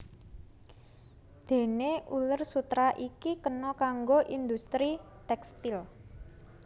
Déné uler sutera iki kena kanggo industri tékstil